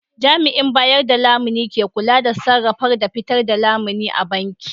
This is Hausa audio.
Jami'in bayar da lamuni ne ke kula da sarrafa da fitar da lamuni a banki